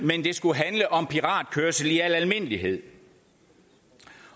skulle handle om piratkørsel i al almindelighed